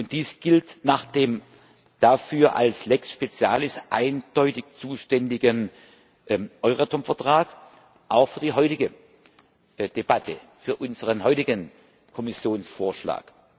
Dies gilt nach dem dafür als Lex specialis eindeutig zuständigen Euratom Vertrag auch für die heutige Debatte, für unseren heutigen Kommissionsvorschlag.